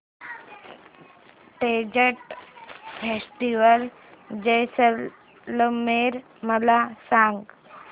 desert festival Jaisalmer मला सांग